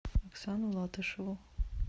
оксану латышеву